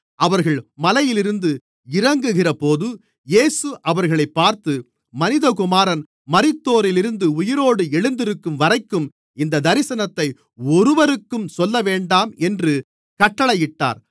அவர்கள் மலையிலிருந்து இறங்குகிறபோது இயேசு அவர்களைப் பார்த்து மனிதகுமாரன் மரித்தோரிலிருந்து உயிரோடு எழுந்திருக்கும்வரைக்கும் இந்தத் தரிசனத்தை ஒருவருக்கும் சொல்லவேண்டாம் என்று கட்டளையிட்டார்